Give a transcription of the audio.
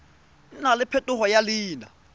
nna le phetogo ya leina